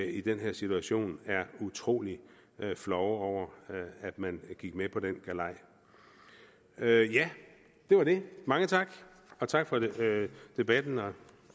i den her situation er utrolig flove over at man gik med på den galej ja det var det mange tak og tak for debatten